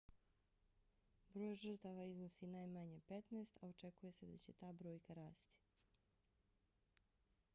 broj žrtava iznosi najmanje 15 a očekuje se da će ta brojka rasti